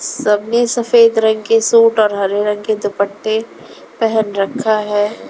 सबने सफेद रंग के सूट और हरे रंग के दुपट्टे पहन रखा है।